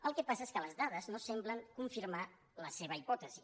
el que passa és que les dades no semblen confirmar la seva hipòtesi